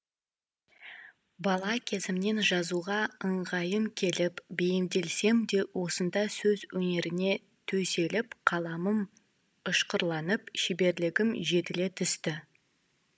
бала кезімнен жазуға ыңғайым келіп бейімделсем де осында сөз өнеріне төселіп қаламым ұшқырланып шеберлігім жетіле түсті